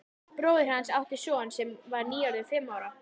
Bróðir hans átti son sem var nýorðinn fimm ára.